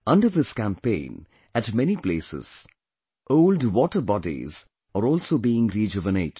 Under this campaign, at many places, old water bodies are also being rejuvenated